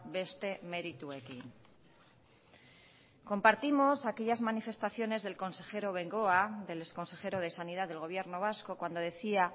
beste merituekin compartimos aquellas manifestaciones del consejero bengoa del exconsejero de sanidad del gobierno vasco cuando decía